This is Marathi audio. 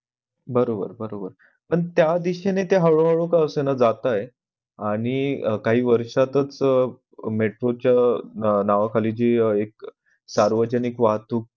बरोबर बरोबर पण त्या दिशेने ते हळू हळू का असेना जातंय आणि काही वर्ष्यातच metro च्या नावाखाली जी एक सर्वजनिक वाहतूक